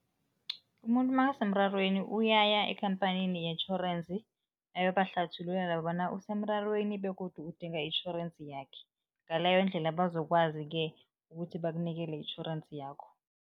Umuntu makasemrarweni uyaya ekhamphanini yetjhorensi, ayobahlathululela bona usemrarweni begodu udinga itjhorensi yakhe, ngaleyo ndlela bazokwazi-ke ukuthi bakunikele itjhorensi yakho.